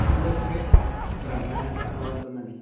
కొందరి face blur అయినట్టు కనబడుతున్నది.